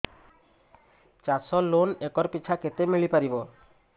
ଚାଷ loan acre ପିଛା କେତେ ମିଳି ପାରିବ